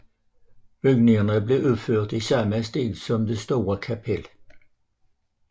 Bygningerne blev udført i samme stil som det store kapel